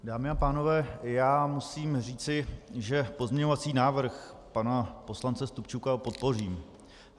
Dámy a pánové, já musím říci, že pozměňovací návrh pana poslance Stupčuka podpořím.